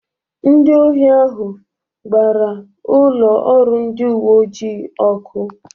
Ndị ohi ahụ gbara ụlọ ọrụ ndị uwe ojii ọkụ.